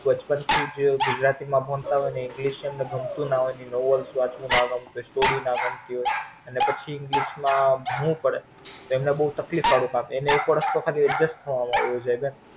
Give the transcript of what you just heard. બચપણ થી જ ગુજરાતી માં ભણતા હોઈ ને English ગમતું ના હોઈ નવું વસ્તુ વાંચવું નો ગમતું હોઈ Story ના ગમતી હોઈ અને પછી English માં ભણવું પડે તો એમને બોવ તકલીફ વાળું કામ એમને એક વર્ષ તો ખાલી adjust થવામાં વઈ જાય ને.